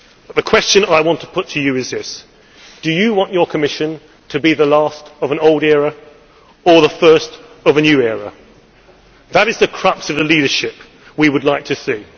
The question I want to put to you is this do you want your Commission to be the last of an old era or the first of a new era? That is the crux of the leadership we would like to